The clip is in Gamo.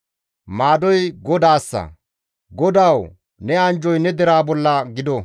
Maadoy GODAASSA; GODAWU ne anjjoy ne deraa bolla gido.